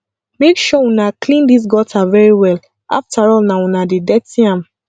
make sure una clean dis gutter very well afterall na una dey dirty am